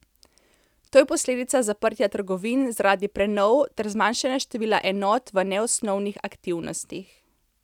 To je posledica zaprtja trgovin zaradi prenov ter zmanjšanja števila enot v neosnovnih aktivnostih.